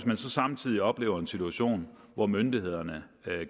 man så samtidig oplever en situation hvor myndighederne